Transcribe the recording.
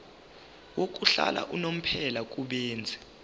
yokuhlala unomphela kubenzi